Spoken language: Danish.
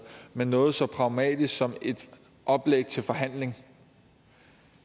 men noget så pragmatisk som et oplæg til forhandling